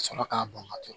Ka sɔrɔ k'a bɔn ka to